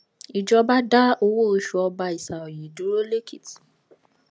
ìjọba dá owó oṣù ọba isaoye dúró lẹkìtì